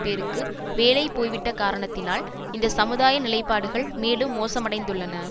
பேருக்கு வேலை போய்விட்ட காரணத்தினால் இந்த சமுதாய நிலைப்பாடுகள் மேலும் மோசமடைந்துள்ளன